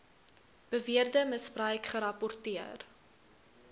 beweerde misbruik gerapporteer